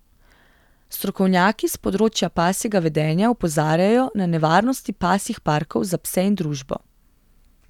Strokovnjaki s področja pasjega vedenja opozarjajo na nevarnosti pasjih parkov za pse in družbo.